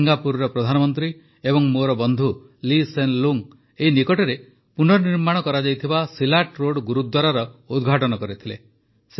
ସିଙ୍ଗାପୁରର ପ୍ରଧାନମନ୍ତ୍ରୀ ଏବଂ ମୋର ବନ୍ଧୁ ଲୀ ସେନ ଲୁଙ୍ଗ୍ ଏଇ ନିକଟରେ ପୁର୍ନନିର୍ମାଣ କରାଯାଇଥିବା ସିଲାଟ୍ ରୋଡ଼ ଗୁରୁଦ୍ୱାରାର ଉଦ୍ଘାଟନ କରିଥିଲେ